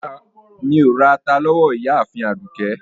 Rárá, Mí o rà àtà lówó Ìyààfin Àdúkẹ.